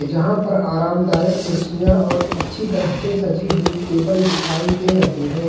जहां पर आरामदायक कुर्सियां और अच्छी तरह से सजी हुई टेबल दिखाई दे रही हैं।